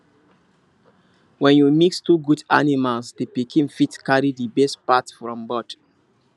when you mix two good animals the pikin fit carry the best part from both